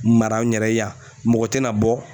Mara n yɛrɛ ye yan mɔgɔ tɛna bɔ